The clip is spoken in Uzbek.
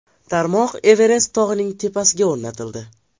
Tarmoq Everest tog‘ining tepasiga o‘rnatildi.